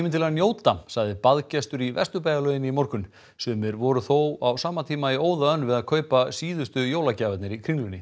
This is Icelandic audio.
til að njóta sagði baðgestur í Vesturbæjarlauginni í morgun sumir voru þó á sama tíma í óða önn við að kaupa síðustu jólagjafirnar í Kringlunni